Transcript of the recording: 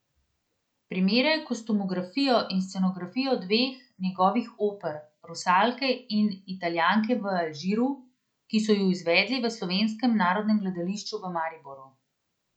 Primerjaj kostumografijo in scenografijo dveh njegovih oper, Rusalke in Italijanke v Alžiru, ki so ju izvedli v Slovenskem narodnem gledališču v Mariboru.